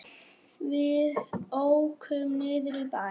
Við ókum niður í bæ.